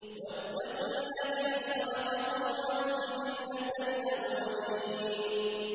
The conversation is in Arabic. وَاتَّقُوا الَّذِي خَلَقَكُمْ وَالْجِبِلَّةَ الْأَوَّلِينَ